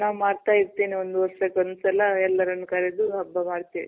ನಾ ಮಾಡ್ತಾ ಇರ್ತೀನಿ. ಒಂದ್ ವರ್ಷಕ್ಕೊಂದ್ ಸಲ ಎಲ್ಲಾರನ್ ಕರ್ದು ಹಬ್ಬ ಮಾಡ್ತಿವಿ.